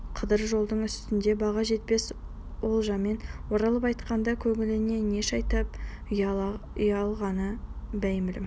қыдыр жолдың үстінде баға жетпес олжамен оралып қайтқанда көңіліне не шайтан ұялағаны беймәлім